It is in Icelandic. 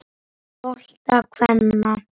bolta kvenna.